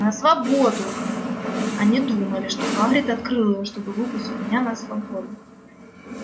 на свободу они думали что хагрид открыл её чтобы выпустить меня на свободу